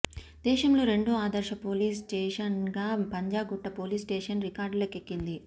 దేశంలో రెండో ఆదర్శ పోలీస్ స్టేషన్గా పంజగుట్ట పోలీస్ స్టేషన్ రికార్డులకెక్కింది